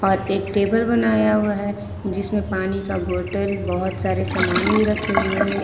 और एक टेबल बनाया हुआ है जिसमें पानी का बोतल बहुत सारे सामान भी रखे हुए हैं।